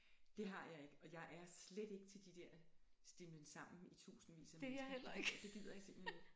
Det har jeg ikke og jeg er slet ikke til de der stimlen sammen i tusindvis af mennesker det gider jeg simpelthen ikke